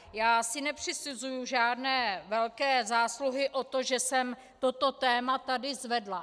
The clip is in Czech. Já si nepřisuzuji žádné velké zásluhy na tom, že jsem toto téma tady zvedla.